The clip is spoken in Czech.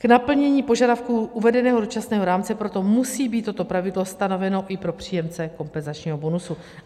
K naplnění požadavků uvedeného dočasného rámce proto musí být toto pravidlo stanoveno i pro příjemce kompenzačního bonusu.